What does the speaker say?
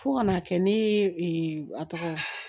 Fo ka n'a kɛ ne a tɔgɔ